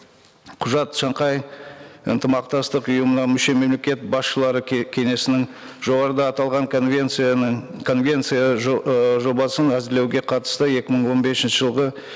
құжат шанхай ынтымақтастық ұйымына мүше мемлекет басшылары кеңесінің жоғарыда аталған конвенцияның конвенция ы жобасын әзірлеуге қатысты екі мың он бесінші жылғы